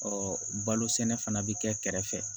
balo sɛnɛ fana bɛ kɛ kɛrɛ fɛ